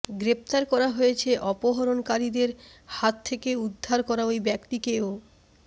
গ্রেফতার করা হয়েছে অপহরণকারীদের হাত থেকে উদ্ধরা করা ওই ব্যক্তিকেও